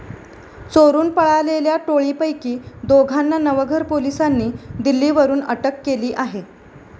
चोरुन पळालेल्या टोळी पैकी दोघांना नवघर पोलीसांनी दिल्ली वरुन अटक केली आहे.